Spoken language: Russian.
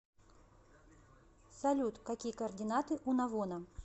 салют какие координаты у навона